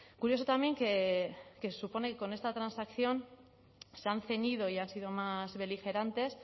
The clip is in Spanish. curioso también que se supone que con esta transacción se han ceñido y han sido más beligerantes